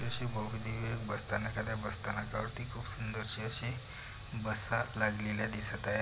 असे भव्य दिव्य बस्थानक आहे त्या बसस्थानकावरती खुप सुंदरशी अशी बसा लागलेल्या दिसत आहेत.